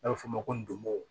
N'a bɛ f'o ma ko